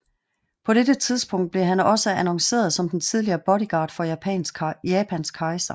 På dette tidspunkt blev han også annonceret som den tidligere bodyguard for Japans kejser